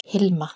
Hilma